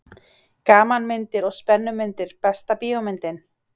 Gamanmyndir og spennumyndir Besta bíómyndin?